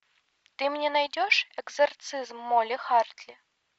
ты мне найдешь экзорцизм молли хартли